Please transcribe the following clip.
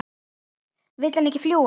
Vill hann ekki fljúga?